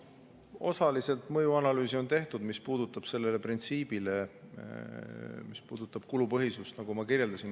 Osaliselt mõjuanalüüse on tehtud, mis puudutab kulupõhisust, nagu ma kirjeldasin.